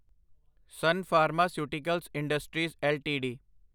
son pharmaceuticals industries LTD